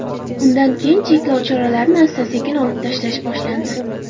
Undan keyin cheklov choralarini asta-sekin olib tashlash boshlandi.